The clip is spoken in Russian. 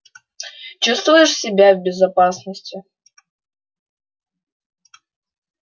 чувствуешь себя в безопасности